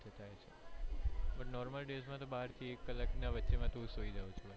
normal days માં બાર થી એક કલાક ની વચ્ચે સુઈ જાઉં છુ